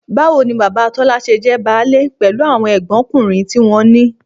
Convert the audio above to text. Báwo ni bàbá Tọ́lá ṣe jẹ́ báálé pẹ̀lú àwọn ẹ̀gbọ́nkùnrin tí wọ́n ní?